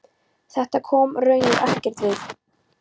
Þetta kom honum raunar ekkert við.